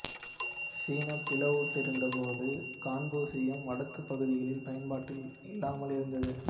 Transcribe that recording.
சீனா பிளவுண்டிருந்தபோது கன்பூசியம் வடக்கு பகுதிகளில் பயன்பாட்டில் இல்லாமல் இருந்தது